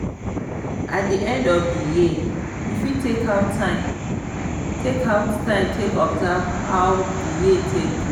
at di end of di year you fit take out time take out time take observe how di year take go